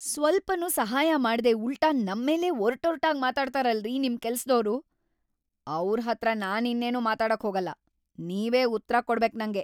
ಸ್ವಲ್ಪನೂ ಸಹಾಯ ಮಾಡ್ದೇ ಉಲ್ಟಾ ನಮ್ಮೇಲೇ ಒರ್ಟೊರ್ಟಾಗ್‌ ಮಾತಾಡ್ತರಲ್ರೀ ನಿಮ್‌ ಕೆಲ್ಸ್‌ದೋರು! ಅವ್ರ್‌ ಹತ್ರ ನಾನಿನ್ನೇನೂ ಮಾತಾಡಕ್‌ ಹೋಗಲ್ಲ, ನೀವೇ ಉತ್ರ ಕೊಡ್ಬೇಕ್‌ ನಂಗೆ.